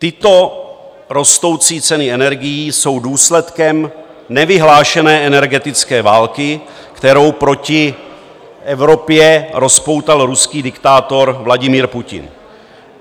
Tyto rostoucí ceny energií jsou důsledkem nevyhlášené energetické války, kterou proti Evropě rozpoutal ruský diktátor Vladimír Putin.